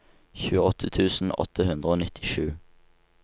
tjueåtte tusen åtte hundre og nittisju